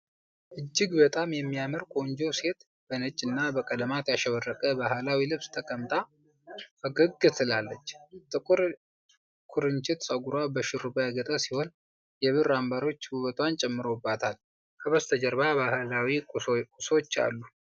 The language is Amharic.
እጅግ በጣም የሚያምር ቆንጆ ሴት በነጭና በቀለማት ያሸበረቀ ባህላዊ ልብስ ተቀምጣ ፈገግ ትላለች። ጥቁር ኩርንችት ፀጉሯ በሽሩባ ያጌጠ ሲሆን፣ የብር አምባሮች ውበቷን ጨምረውበታል። ከበስተጀርባ ባህላዊ ቁሳቁሶች አሉ።